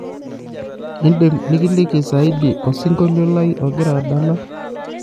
idim nikiliki ziadi osingoliolai ogira adala